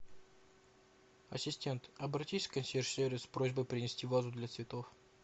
ассистент обратись в консьерж сервис с просьбой принести вазу для цветов